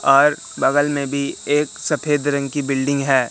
और बगल में भी एक सफेद रंग की बिल्डिंग है।